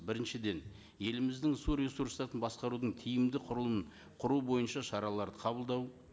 біріншіден еліміздің су ресурстарын басқарудың тиімді құрылымын құру бойынша шараларды қабылдау